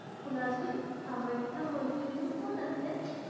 শুনাচোন, কামাখ্যা মন্দিৰনো ক'ত আছে?